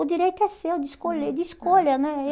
O direito é seu de escolher, de escolha, né? Eh